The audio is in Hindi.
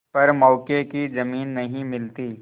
पर मौके की जमीन नहीं मिलती